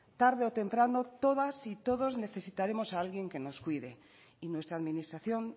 tarde o temprano todas y todos necesitaremos a alguien que nos cuide y nuestra administración